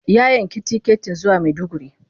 Ya yanki tiketin zuwa Maiduguri.